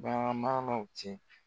Bagan maralaw cɛ.